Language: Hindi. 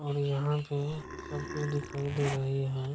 और यहाँ पे सब कुछ दिखाई दे रहे हैं।